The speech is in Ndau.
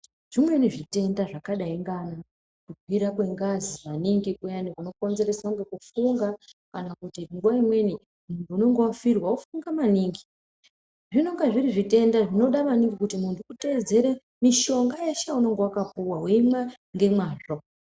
Zvimweni zvitenda zvakadai ngaana kukwira kwengazi maningi kuyani kunokonzereswa ngekufunga. Kuti nguva imweni muntu unenge vafirwa vofunga maningi. Zvinonga zviri zvitenda zvinoda maningi kuti muntu utedzere mishonga yeshe yaunonga vakapuva veimwa ngemazvo.